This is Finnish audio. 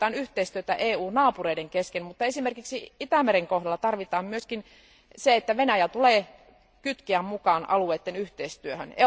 Tarvitaan yhteistyötä EUn naapureiden kesken, mutta esimerkiksi Itämeren kohdalla on tarpeen myös se, että Venäjä tulee kytkeä mukaan alueitten yhteistyöhön.